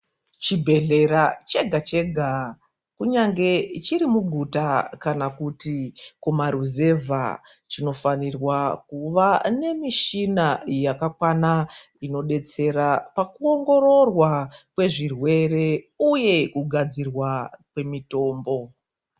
Chibhehlera chega chega kunyange chiri muguta kana kuti kumaruzevha, chinofanirwa kuva nemishina yakakwana inodetsera pakuongororwa kwezvirwere uye kugadzirwa kwemitombo.